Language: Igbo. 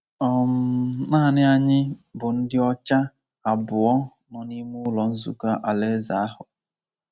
um Nanị anyị bụ ndị ọcha abụọ nọ n’ime Ụlọ Nzukọ Alaeze ahụ.